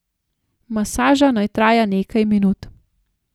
Masaža naj traja nekaj minut.